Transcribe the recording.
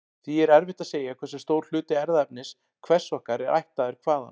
Því er erfitt að segja hversu stór hluti erfðaefnis hvers okkar er ættaður hvaðan.